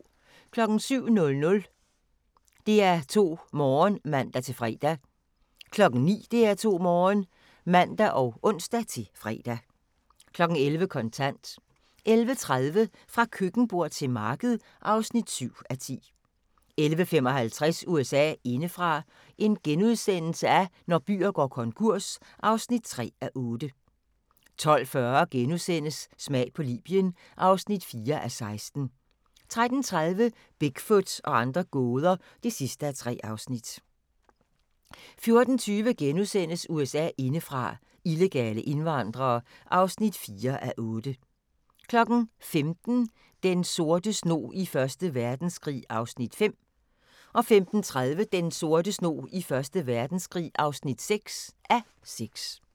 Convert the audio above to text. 07:00: DR2 Morgen (man-fre) 09:00: DR2 Morgen (man og ons-fre) 11:00: Kontant 11:30: Fra køkkenbord til marked (7:10) 11:55: USA indefra: Når byer går konkurs (3:8)* 12:40: Smag på Libyen (4:16)* 13:30: Bigfoot og andre gåder (3:3) 14:20: USA indefra: Illegale indvandrere (4:8)* 15:00: Den sorte snog i Første Verdenskrig (5:6) 15:30: Den sorte snog i Første Verdenskrig (6:6)